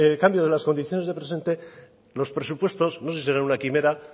cambio de las condiciones del presente los presupuestos no se será una quimera